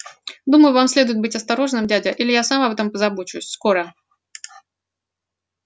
думаю вам следует быть осторожным дядя или я сам об этом позабочусь скоро